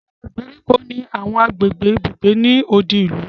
Àwọn ìgbèríko ni àwọn agbègbè ibùgbé ni odi ìlú